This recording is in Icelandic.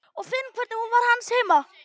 Ég finn hvernig hún var hans heima.